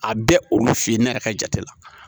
A bɛ olu fe ye ne yɛrɛ ka jate la